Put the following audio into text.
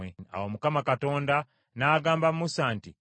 Awo Mukama Katonda n’agamba Musa nti,